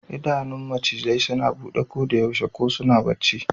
Idanun macizai suna bude kodayaushe, ko suna bacci.